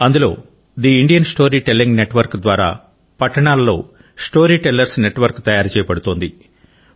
అందులో స్థే Indian story telling network ద్వారా పట్టణాలలో స్టోరీ టెల్లర్స్ నెట్వర్క్ తయారు చేయబడుచున్నది